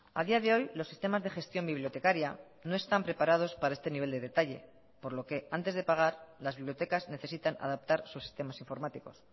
a día de hoy los sistemas de gestión bibliotecaria no están preparados para este nivel de detalle por lo que antes de pagar las bibliotecas necesitan adaptar sus sistemas informáticos